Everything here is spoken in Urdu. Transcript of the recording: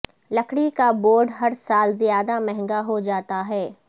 لکڑی کا بورڈ ہر سال زیادہ مہنگا ہو جاتا ہے